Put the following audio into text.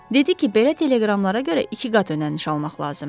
Dedi ki, belə teleqramlara görə iki qat ödəniş almaq lazımdı.